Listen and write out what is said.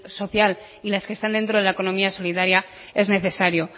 social y las que están dentro de la economía solidaria es necesario